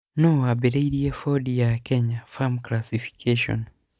Nũũ waambĩrĩirie bodi ya Kenya Film Classification?